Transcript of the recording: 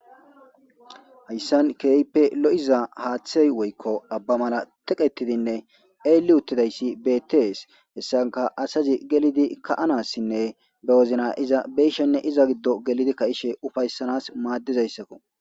Hayssan keype lo7iza haaththey woykko abba mala teqetidinne eeli uttidayssi betees hessanka asazi gelidi ka7anassinne bewozna iza beyshenne iza giddo gelidi ka7ishe ufayssanas maaddizayssakko